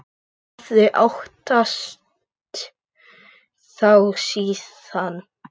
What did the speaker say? Ég hafði óttast þá síðan.